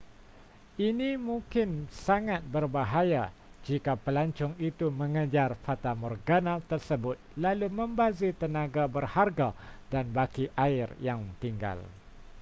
ini mungkin sangat berbahaya jika pelancong itu mengejar fatamorgana tersebut lalu membazir tenaga berharga dan baki air yang tinggal